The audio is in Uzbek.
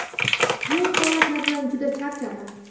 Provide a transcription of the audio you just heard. Bu holatlardan juda charchadim.